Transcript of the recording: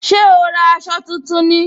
Ṣé o ra aṣọ tuntun ni